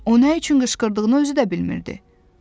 O nə üçün qışqırdığını özü də bilmirdi.